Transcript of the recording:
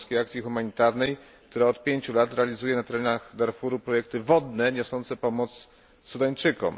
Polskiej Akcji Humanitarnej, która od 5 lat realizuje na terenach Darfuru projekty wodne niosące pomoc Sudańczykom.